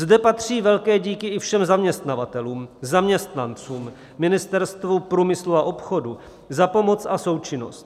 Zde patří velké díky i všem zaměstnavatelům, zaměstnancům, Ministerstvu průmyslu a obchodu za pomoc a součinnost.